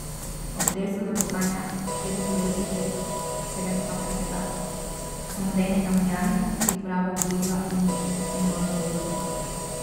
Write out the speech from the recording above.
Ob dejstvu, da poganja prednji kolesi prek sedemstopenjskega samodejnega menjalnika, tudi poraba goriva ni enormno velika.